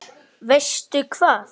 Veistu hvað?